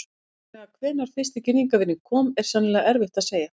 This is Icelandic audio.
Nákvæmlega hvenær fyrsti girðingarvírinn kom er sennilega erfitt að segja.